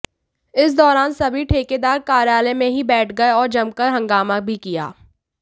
इस दौरान सभी ठेकेदार कार्यालय में ही बैठ गए और जमकर हंगामा भी किया